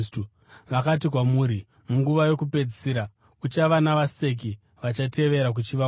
Vakati kwamuri, “Munguva yokupedzisira kuchava navaseki vachatevera kuchiva kwavo.”